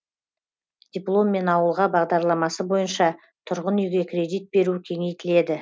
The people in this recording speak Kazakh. дипломмен ауылға бағдарламасы бойынша тұрғын үйге кредит беру кеңейтіледі